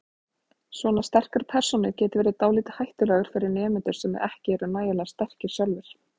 Svona sterkar persónur geti verið dálítið hættulegar fyrir nemendur sem ekki eru nægilega sterkir sjálfir.